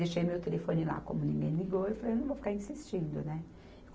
Deixei meu telefone lá, como ninguém ligou, eu falei, eu não vou ficar insistindo, né?